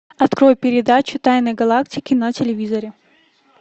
открой передачу тайны галактики на телевизоре